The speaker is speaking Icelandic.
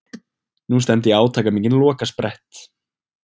Nú stefndi í átakamikinn lokasprett.